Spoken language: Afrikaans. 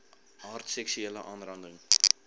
aard seksuele aanranding